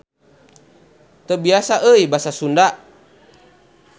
Teu biasa euy Basa Sunda.